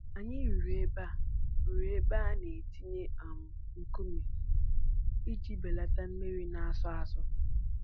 Anyị rụrụ ebe a rụrụ ebe a na-etinye um nkume iji belata mmiri na-asọ asọ.